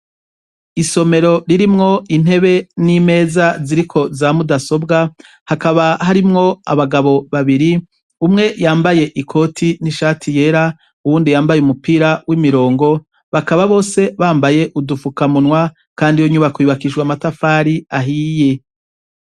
Isomero ririmwo intebe n'imeza ziriko za mudasobwa, hakaba harimwo abagabo babiri, umwe yambaye ikoti n'ishati yera uwundi yambaye umupira w'imirongo, bakaba bose bambaye udufukamunwa, kandi yo nyubako yubakishwe amatafari ahiye.